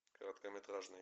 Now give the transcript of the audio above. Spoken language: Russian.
короткометражный